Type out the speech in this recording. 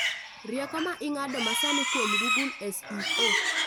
Rieko ma ig'ado masani kuom Google S.E.O